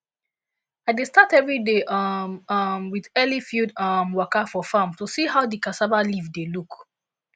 i dey start everyday um um with early field um waka for farm to see how di cassava leaf dey look